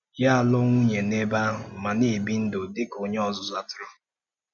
Yá alụọ nwunye n’ebe ahụ ma na-ebi ndụ dị ka onye ọzụzụ atụrụ.